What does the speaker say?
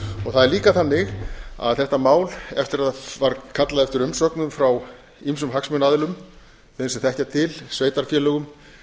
það er líka þannig að þetta mál eftir að var kallað eftir umsögnum frá ýmsum hagsmunaaðilum þeim sem þekkja til sveitarfélögum